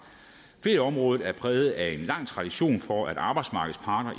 ferieområdet er præget af en lang tradition for at arbejdsmarkedets parter